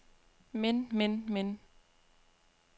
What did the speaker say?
men men men